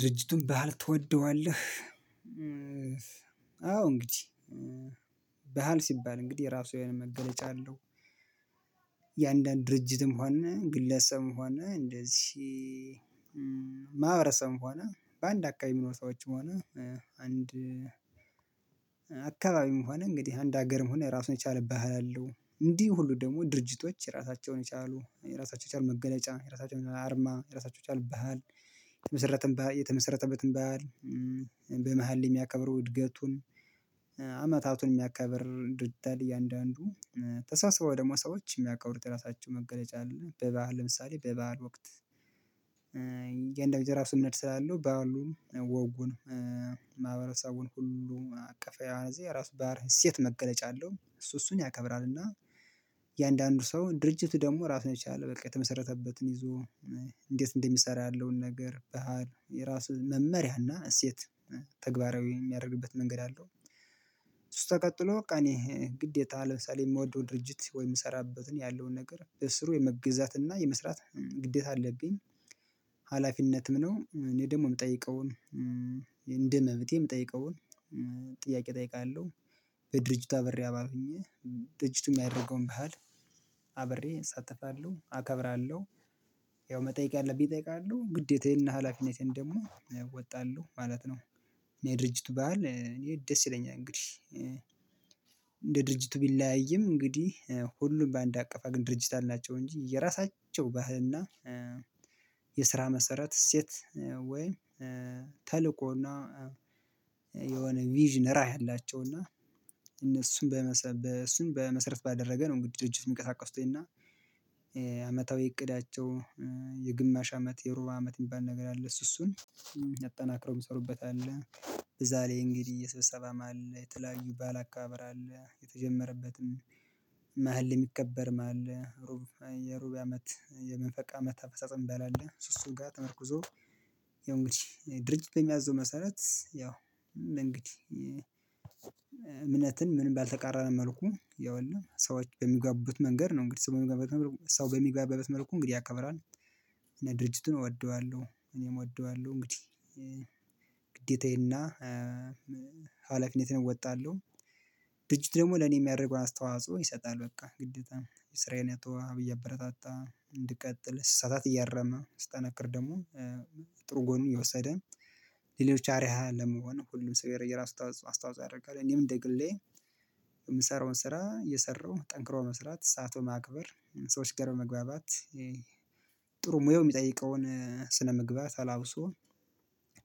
ድርጅቱን ባህል ትወደዋለህ? አዎ እንግዲህ ባህል ሲባል እንግዲህ የራሱ የሆነ መገለጫ አለው። የአንዳንድ ድርጅትም ሆነ ግለሰብም ሆነ እንድዚ አካባቢም ሆነ አንድ ሀገርም ሆነ ራሱን የቻለብሃል አለው እንዲህ ሁሉ ደግሞ ድርጅቶች ራሳቸውን የቻሉ የራሳቸውን መገለጫ የራሳቸውን አርማ የራሳቸውን ባህል። የተመሰረተበትን ባህል በመሃል የሚያከብሩ እድገቱን አመታቱን የሚያከብር ድርጅት አለ። እያንዳንዱ ተሳስበው ደግሞ ሰዎች የሚያቃውሩት ራሳቸው መገለጫ አለ በባህል ለምሳሌ በባህል ወቅት የእንደው የራሱነት ስላለው ባህሉን ወጉን ማህበረሰቡን ሁሉ አቀፋዊ ራሱ ባህለ እሴት መገለጫ አለው። እሱ እሱን ያከብራል እና የአንዳንዱ ሰው ድርጅቱ ደግሞ ራሱን ይቻላል በቃ የተመሰረተበትን ይዞ እንዴት እንደሚሰራ ያለውን ነገር ባህል የራሱ መመሪያ እና እሴት ተግባራዊ የሚያደርግበት መንገድ አለው። እሱ ተክትሎ በቃ እኔ ግዴታ ለምሳሌ የምወደው ድርጅት ወይ የምሰራበትን ያለውን ነገር በስሩ የመገዛትና የመስራት ግዴታ አለብኝ ሀላፊነትም ነው። እኔ ደግሞ የምጠይቀውን እንደ መብቴ የምጠይቀውን ጥያቄ እጠይቃለሁ በድርጅት አብሬ አባል ሆኘ ጥጅቱም ያደርገውም ባህል አብሬ እሳተፋለሁ አከብራለሁ ያው መጠየቅ ያለብኝ እጠይቃለሁ ግዴታዬንና ሀላፊነቴን ደግሞ እወጣለሁ ማለት ነው። እኔ ድርጅቱ ባህል እኔ ደስ ይለኛል እንግዲህ። እንደ ድርጅቱ ቢለያይም እንግዲህ ሁሉም በአንድ አቀፋ ግን ድርጅት አላቸው እንጂ የራሳቸው ባህልና የስራ መሰረት እሴት ወይ ተልኮና የሆነ ቪዥን ራዕይ አላቸው እና እነሱን በመሰረት በመሰረት ባደረገ ነው። እንግዲህ ድርጅት የሚቀሳቀሱት እና አመታዊ እቅዳቸው የግማሽ አመት የሩብ አመት የሚባል ነገር አለ። እሱ እሱን አጠናክረው የሚሰሩበት አለ። እዛ ላይ እንግዲህ እየሰበሰበ አማል የተለያዩ ባል አካባበር አለ የተጀመረበትም መሃል የሚከበር አለ ሩብ የሩብ አመት የመንፈቅ አመት አፈጽ እሚባል አለ። እሱ እሱ ቀን ተመርኩዞ ድርጅቱ የሚያዘው መሰረት ያው እንግዲህ እምነትን ምንም ባልተቃራነ መልኩ ያውልህ ሰዎች በሚጋቡት መንገድ ነው እንግዲህ ሰው በሚጋበበት መልኩ ሰው በሚጋበ መልኩ እንግዲህ ያከብራል። እና ድርጅቱን እወደዋለሁ እኔም እወደዋለሁ እንግዲህ ግዴታዬና ሀላፊነትን እወጣለሁ። ድርጅት ደግሞ ለኔ የሚያደርገውን አስተዋጽኦ ይሰጣል በቃ ግዴታ የስራዬን አቶ አብይ አበረታታ እንድቀጥል ስሳሳት እያረመ ስጠነክር ደግሞ ጥሩ ጎን የወሰደ ሌሎች አርያ ለመሆን ጥሩ ሙያው የሚጠይቀውን ስነምግባር ተላብሶ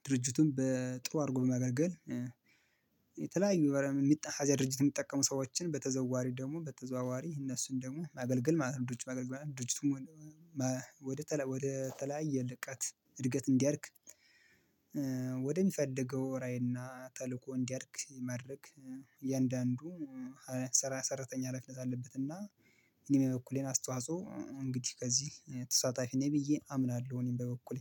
ድርጅቱን በጥሩ አድርጎ በማገልገል የተለያዩ ወይ እዚያ ድርጅት የሚጠቀሙ ሰዎችን በተዘዋሪ ደግሞ በተዘዋዋሪ እነሱን ደግሞ ማገልገል ማለት ነው። ድርጅቱ ድርጅቱም ወደ ወደ ተለያየ ልቀት እድገት እንዲያድግ ወደሚፈልገው ራዕይና ተልእኮ እንዲያድግ ማድረግ የእንደአንዱ ሰራ ሰራተኛ ሀላፊነት አለበትና እኔም በበኩሌን አስተዋጽኦ እንግዲህ ከዚህ ተሳታፊ ነኝ ብዬ አምናለሁ። እኔም በበኩሌ